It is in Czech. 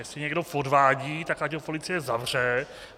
Jestli někdo podvádí, tak ať ho policie zavře.